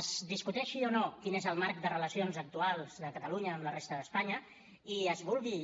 es discuteixi o no quin és el marc de relacions actuals de catalunya amb la resta d’espanya i es vulgui